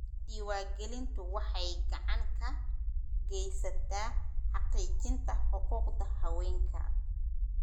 Diiwaangelintu waxay gacan ka geysataa xaqiijinta xuquuqda haweenka.